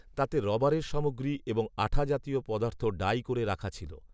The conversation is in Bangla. তাতে রবারের সামগ্রী, এবং আঠা জাতীয় পদার্থ ডাঁই করে রাখা ছিল